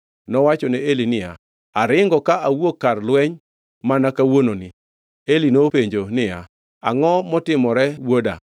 Nowachone Eli niya, “Aringo ka awuok kar lweny mana kawuononi.” Eli nopenjo niya, “Angʼo motimore wuoda?”